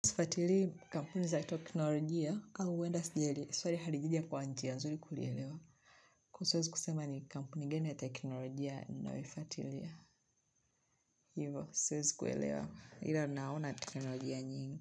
Sifuatilii kampuni za toknolojia, au uenda sijali, swali halijija kwa njia, nzuri kulielewa Kuo siwezi kusema ni kampuni gani ya teknolojia, ninayoifuatilia Hivo, swezi kuelewa, ila naona teknolojia nyingi.